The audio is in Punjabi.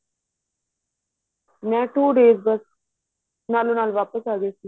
ਮੈਂ two days ਬੱਸ ਨਾਲੋ ਨਾਲ ਵਾਪਿਸ ਆਂ ਗਈ ਸੀ